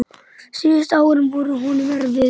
Síðustu árin voru honum erfið.